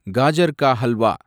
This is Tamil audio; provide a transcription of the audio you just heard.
காஜர் கா ஹல்வா